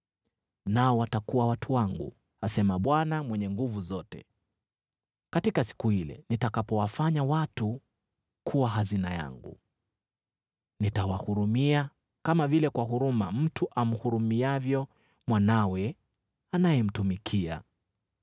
“Nao watakuwa watu wangu,” asema Bwana Mwenye Nguvu Zote, “katika siku ile nitakapowafanya watu kuwa hazina yangu. Nitawahurumia, kama vile kwa huruma mtu amhurumiavyo mwanawe anayemtumikia.